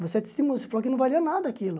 Você testemunha, você falou que não valia nada aquilo.